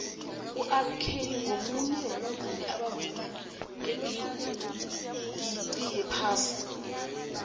urkelly ngumunye wabavumi abavuma ngebhigixi yephasi